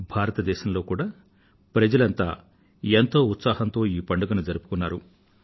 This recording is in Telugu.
భారతదేశంలో కూడా ప్రజలంతా ఎంతో ఉత్సాహంతో ఈ పండుగను జరుపుకున్నారు